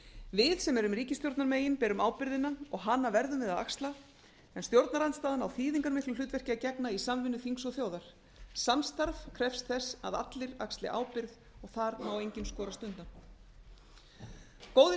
við sem erum ríkisstjórnarmegin berum ábyrgðina og hana verðum við að axla en stjórnarandstaðan á þýðingarmiklu hlutverki að gegna í samstarfi þings og þjóðar samstarf krefst þess að allir axli ábyrgð og þar má enginn skorast undan góðir